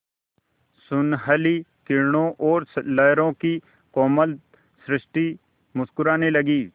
सुनहली किरणों और लहरों की कोमल सृष्टि मुस्कराने लगी